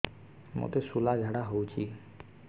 ମୋତେ ଶୂଳା ଝାଡ଼ା ହଉଚି